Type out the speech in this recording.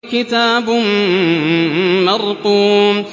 كِتَابٌ مَّرْقُومٌ